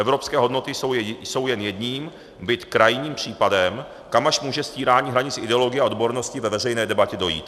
Evropské hodnoty jsou jen jedním, byť krajním případem, kam až může stírání hranic ideologie a odbornosti ve veřejné debatě dojít."